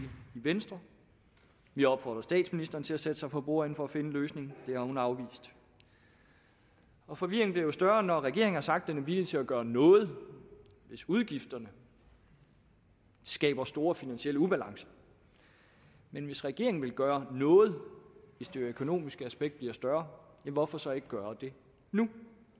venstre vi opfordrer statsministeren til at sætte sig for bordenden for at finde en løsning det har hun afvist og forvirringen bliver jo større når regeringen har sagt at den er villig til at gøre noget hvis udgifterne skaber store finansielle ubalancer men hvis regeringen vil gøre noget hvis det økonomiske aspekt bliver større hvorfor så ikke gøre det nu